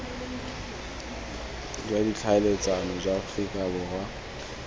jwa ditlhaeletsano jwa aforika borwa